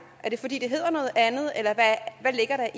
er det fordi det hedder noget andet eller hvad ligger der